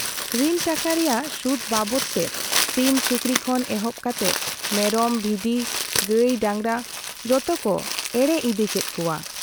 ᱨᱤᱱ ᱴᱟᱠᱟ ᱨᱮᱭᱟᱜ ᱥᱩᱫᱽ ᱵᱟᱵᱚᱛ ᱛᱮ ᱥᱤᱢ ᱥᱩᱠᱨᱤ ᱠᱷᱚᱱ ᱮᱦᱚᱵ ᱠᱟᱛᱮ ᱢᱮᱨᱚᱢ ᱵᱷᱤᱰᱤ, ᱜᱟᱹᱭ ᱰᱟᱸᱜᱽᱨᱟ ᱡᱚᱛᱚᱠᱚ ᱮᱲᱮ ᱤᱫᱤ ᱠᱮᱫ ᱠᱚᱣᱟ ᱾